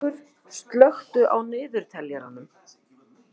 Auðbergur, slökktu á niðurteljaranum.